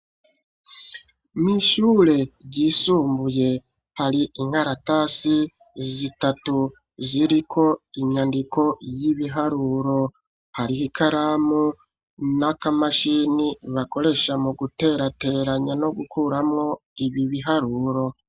Mw'ishure ryisumbuye hari inkaratasi zitatu ziriko inyandiko y'ibiharuro, hariho ikaramu n'akamashini bakoresha mu guterateranya no gukuramwo ibi biharuro.